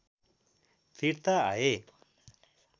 फिर्ता आए